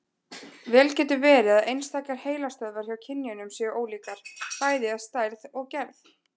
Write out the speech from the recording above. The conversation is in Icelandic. Vel getur verið að einstakar heilastöðvar hjá kynjunum séu ólíkar, bæði að stærð og gerð.